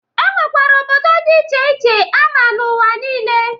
E nwekwere obodo dị iche iche ama n'ụwa nile.